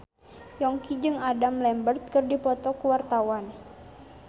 Yongki jeung Adam Lambert keur dipoto ku wartawan